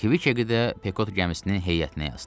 Kvik də Pekot gəmisinin heyətinə yazdılar.